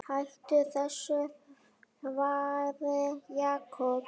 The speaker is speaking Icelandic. Hættu þessu þvaðri, Jakob.